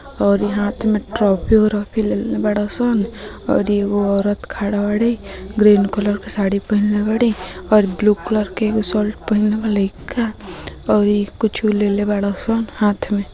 और इ हाथ में ट्रॉफी उरॉफी लेले बाड़े सन और एगो औरत खड़ा बाड़े ग्रीन कलर के साड़ी पहिनला बाड़े और ब्लू कलर के एगो और इ कुछो लेले बाड़े सन हाथ में।